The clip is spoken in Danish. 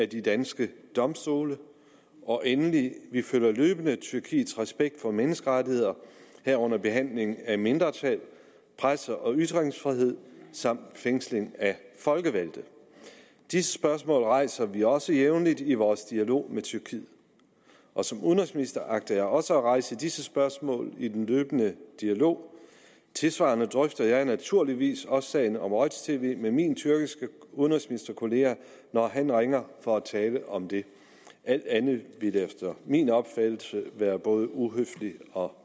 de danske domstole og endelig følger vi løbende tyrkiets respekt for menneskerettigheder herunder behandling af mindretal presse og ytringsfrihed samt fængsling af folkevalgte disse spørgsmål rejser vi også jævnligt i vores dialog med tyrkiet og som udenrigsminister agter jeg også at rejse disse spørgsmål i den løbende dialog tilsvarende drøfter jeg naturligvis også sagen om roj tv med min tyrkiske udenrigsministerkollega når han ringer for at tale om det alt andet ville efter min opfattelse være både uhøfligt og